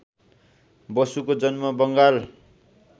बसुको जन्म बङ्गाल